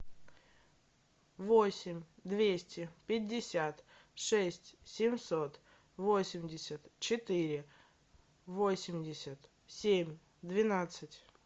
восемь двести пятьдесят шесть семьсот восемьдесят четыре восемьдесят семь двенадцать